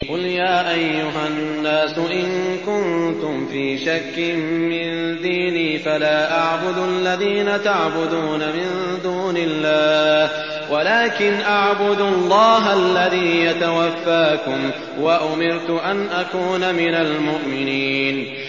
قُلْ يَا أَيُّهَا النَّاسُ إِن كُنتُمْ فِي شَكٍّ مِّن دِينِي فَلَا أَعْبُدُ الَّذِينَ تَعْبُدُونَ مِن دُونِ اللَّهِ وَلَٰكِنْ أَعْبُدُ اللَّهَ الَّذِي يَتَوَفَّاكُمْ ۖ وَأُمِرْتُ أَنْ أَكُونَ مِنَ الْمُؤْمِنِينَ